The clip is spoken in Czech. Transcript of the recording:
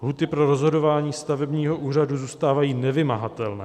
Lhůty pro rozhodování stavebního úřadu zůstávají nevymahatelné.